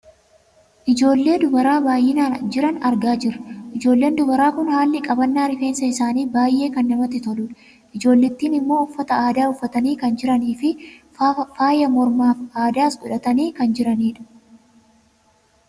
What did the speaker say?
Ijoollee dubaraa baayyinaan jiran argaa jirra . Ijoolleen dubaraa kun haalli qabannaa rifeensa isaanii baayyee kan namatti toluudha. Ijoollittiin ammoo uffata aadaa uffatanii kan jiraniifi faaya mormaaf addaas godhatanii kan jiranidha.